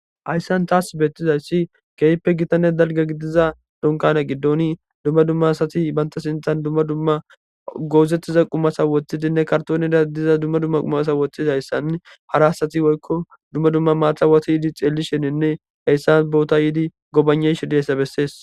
hayssan taas beettizayssi keeyppe gitanne dalga gidiza donkane giddoni dumma dumma asati banta sintan dumma dumma goozettiza qumasa woththidinne kartoonida diza dumma dumma qumasa woththidayssann hara asati woykko dumma dumma maatawata yiidi xeelli sheninne heyssan boota yiidi gobaneshediessa bessees